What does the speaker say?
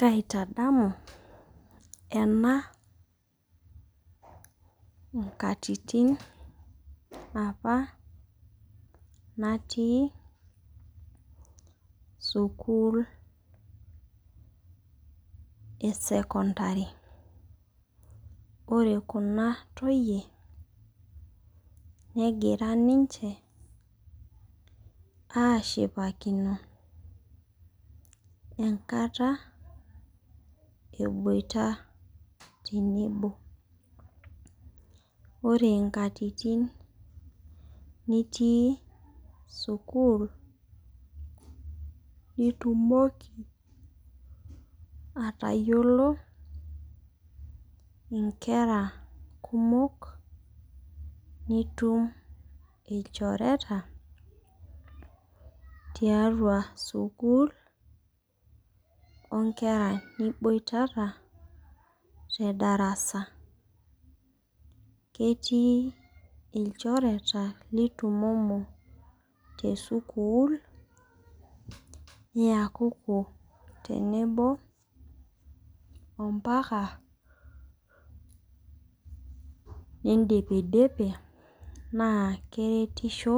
Kaitadamu ena nkatitin apa natii sukul esecondary .Ore kuna toyie negira ninche ashipakino enkata eboita tenebo . Ore nkatitin nitii sukuul nitumoki atayiolo inkera kumok , nitum ilchoreta tiatua sukul onkera niboitata tedarasa . Ketii ilchoreta nitumomo tesukul niakuku tenebo ompaka nindipidipi naa keretisho